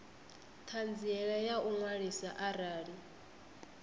ṱhanziela ya u ṅwaliswa arali